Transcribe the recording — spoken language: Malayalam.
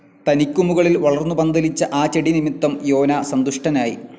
തനിക്കു മുകളിൽ വളർന്നു പന്തലിച്ച ആ ചെടി നിമിത്തം യോനാ സന്തുഷ്ടനായി.